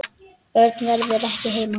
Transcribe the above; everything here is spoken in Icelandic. Örn verður ekki heima.